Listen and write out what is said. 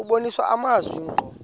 kubonisa amazwi ngqo